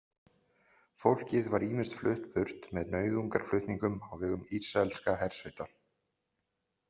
Fólkið var ýmist flutt burt með nauðungarflutningum á vegum ísraelskra hersveita.